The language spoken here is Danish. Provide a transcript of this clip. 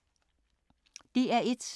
DR1